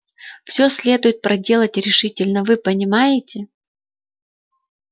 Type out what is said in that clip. всё следует проделать решительно вы понимаете